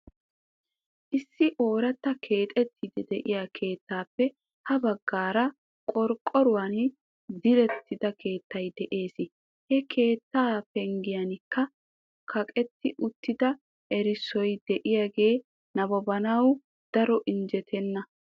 Issi oorata keexxetiidi de'iyaa keettappe ha baggaara qorqqoruwan direttida keettay de'ees. He keettaa penggiyankka kaqetti uttida erissoy diyaage nabbabanaw daro injjetena.